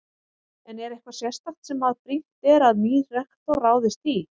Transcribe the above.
En er eitthvað sérstakt sem að er brýnt að nýr rektor ráðist í?